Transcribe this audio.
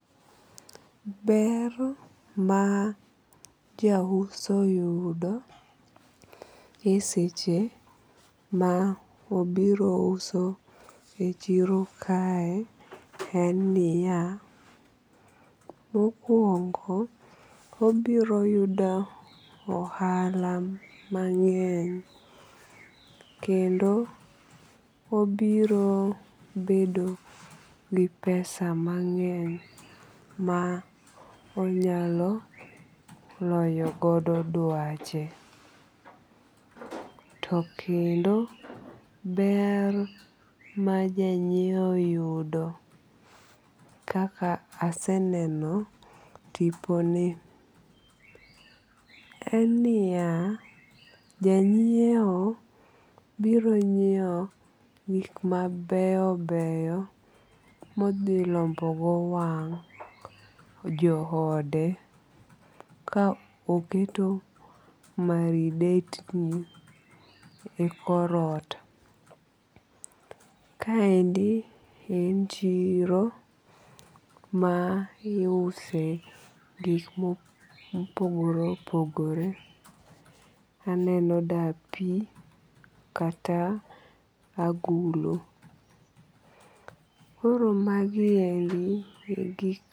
Ber ma ja uso yudo e seche ma obiro uso e chiro kae en niya. Mokuongo obiro yudo ohala mang'eny kendo obiro bedo gi pesa mang'eny ma onyalo loyo godo dwache. To kendo ber ma janyiew yudo kaka aseneno tipo ni en niya. Janyiewo biro nyiew gik mabeyo beyo mo dhi lombo go wang jo ode ka oketo maridetni e kor ot. Kaendi en chiro ma iuse gik mopogore opogore. Aneno dapi kata agulu. Koro magiendi e gik.